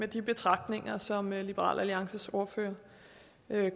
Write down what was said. de betragtninger som liberal alliances ordfører